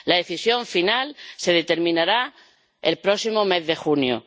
La decisión final se determinará el próximo mes de junio.